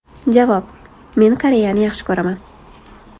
Javob: Men Koreyani yaxshi ko‘raman.